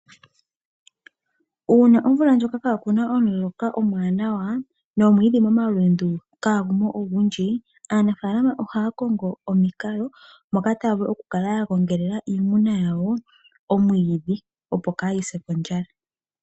Uuna omvula ndjoka ka kuna omuloka omwanawa nomwiidhi momalundu kagumo ogundji, aanafalama ohaa kongo omikalo moka taya vulu okula ya gongelela iimuna yawo omwiidhi opo ka yi se kondjala.